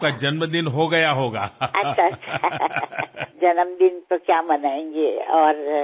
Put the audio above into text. పుట్టినరోజు జరిపుకునేదేమీ లేదు